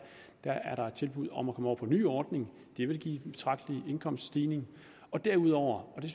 der er der tilbud om at komme over på den nye ordning det vil give en betragtelig indkomststigning derudover og det